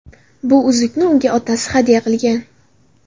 Bu uzukni unga otasi hadya qilgan.